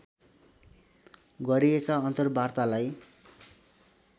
गरिएका अन्तर्वार्तालाई